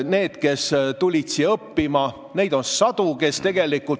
Need, kes tulid siia õppima, neid on sadu.